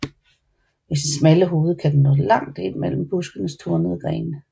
Med sit smalle hoved kan den nå langt ind mellem buskenes tornede grene